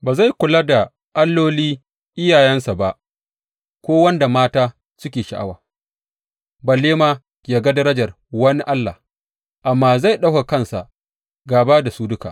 Ba zai kula da alloli iyayensa ba ko wanda mata suke sha’awa, balle ma yă ga darajar wani allah, amma zai ɗaukaka kansa gaba da su duka.